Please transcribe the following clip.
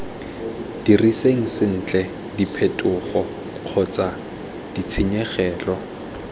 diriseng sentle diphetogo kgotsa ditshenyegelo